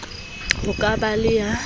ho ka ba le ya